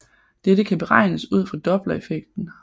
Dette kan beregnes ud fra dopplereffekten